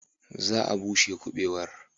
Za a bushe kubewar.